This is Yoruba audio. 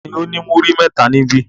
Ta ni ó ní múrí mẹ́ta níbí?